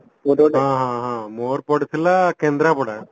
ହଁ ହଁ ହଁ ମୋର ପଡିଥିଲା କେନ୍ଦ୍ରପଡା